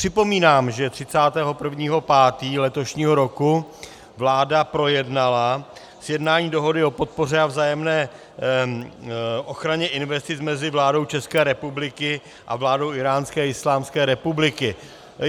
Připomínám, že 31. 5. letošního roku vláda projednala sjednání dohody o podpoře a vzájemné ochraně investic mezi vládou České republiky a vládou Íránské islámské republiky.